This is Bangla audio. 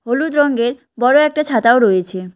হলুদ রংগের বড়ো একটা ছাতাও রয়েছে।